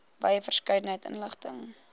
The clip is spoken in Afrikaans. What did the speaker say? wye verskeidenheid inligting